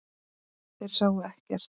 Þeir sáu ekkert.